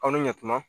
Aw ni yatima